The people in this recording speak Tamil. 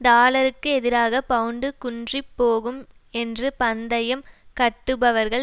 டாலருக்கு எதிராக பவுண்டு குன்றிப்போகும் என்று பந்தயம் கட்டுபவர்கள்